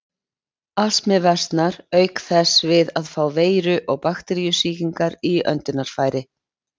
Astmi versnar auk þess við að fá veiru- og bakteríusýkingar í öndunarfæri.